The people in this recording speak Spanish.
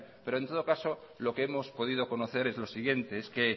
pero en todo caso lo que hemos podido conocer es lo siguiente es que